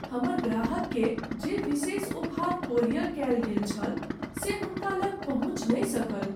हमर ग्राहककेँ जे विशेष उपहार कोरियर कयल गेल छल से हुनका लग पहुँचि नहि सकल।